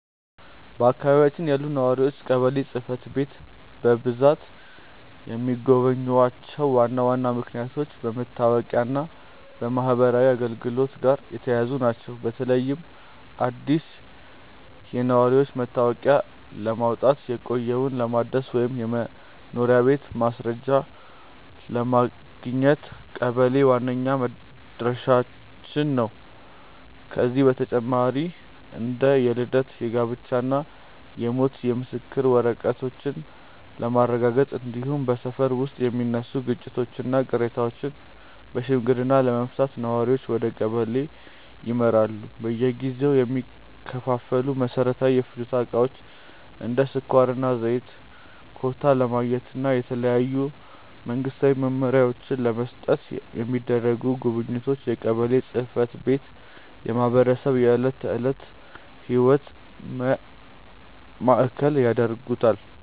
በአካባቢያችን ያሉ ነዋሪዎች ቀበሌ ጽሕፈት ቤትን በብዛት የሚጎበኙባቸው ዋና ዋና ምክንያቶች ከመታወቂያና ከማኅበራዊ አገልግሎቶች ጋር የተያያዙ ናቸው። በተለይም አዲስ የነዋሪነት መታወቂያ ለማውጣት፣ የቆየውን ለማደስ ወይም የመኖሪያ ቤት ማስረጃ ለማግኘት ቀበሌ ዋነኛው መድረሻችን ነው። ከዚህ በተጨማሪ እንደ የልደት፣ የጋብቻና የሞት የምስክር ወረቀቶችን ለማረጋገጥ፣ እንዲሁም በሰፈር ውስጥ የሚነሱ ግጭቶችንና ቅሬታዎችን በሽምግልና ለመፍታት ነዋሪዎች ወደ ቀበሌ ያመራሉ። በየጊዜው የሚከፋፈሉ መሠረታዊ የፍጆታ ዕቃዎችን (እንደ ስኳርና ዘይት) ኮታ ለማግኘትና የተለያዩ መንግስታዊ መመሪያዎችን ለመስማት የሚደረጉ ጉብኝቶችም የቀበሌን ጽሕፈት ቤት የማኅበረሰቡ የዕለት ተዕለት ሕይወት ማዕከል ያደርጉታል።